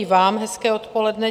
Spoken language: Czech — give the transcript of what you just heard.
I vám hezké odpoledne.